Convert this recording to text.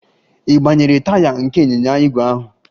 Ị gbanyere taya nke ịnyịnya ígwè ahụ?